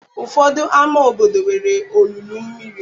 Ụfọdụ ámá obodo nwere olulu mmiri.